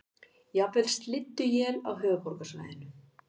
Jafnvel slydduél á höfuðborgarsvæðinu